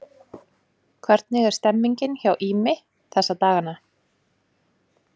Hvernig er stemmningin hjá Ými þessa dagana?